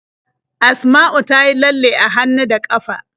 Asma'u ta yi lalle a hannu da ƙafa.